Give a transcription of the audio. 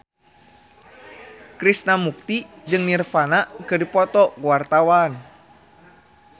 Krishna Mukti jeung Nirvana keur dipoto ku wartawan